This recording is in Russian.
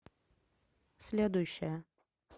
следующая